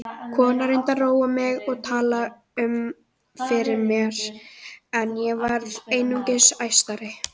Konan reyndi að róa mig og tala um fyrir mér en ég varð einungis æstari.